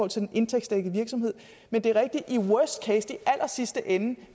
til en indtægtsdækket virksomhed men det er rigtigt at i worst case i allersidste ende